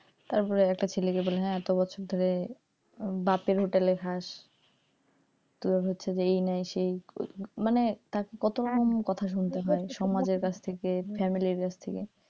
তারপর একটা ছেলেকে বলে এত বছর ধরে বাপের হোটেলে খাস তোর হচ্ছে যে এই নাই সেই নাই মানে তাকে সমাজের কাজ থেকে ফ্যামিলির কাছ থেকে,